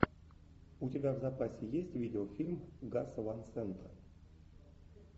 у тебя в запасе есть видеофильм гаса ван сента